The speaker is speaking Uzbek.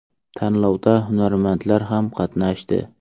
Tanlovda hunarmandlar ham qatnashdi.